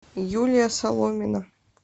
юлия соломина